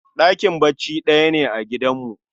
Ɗakin bacci ɗaya ne a gidanmu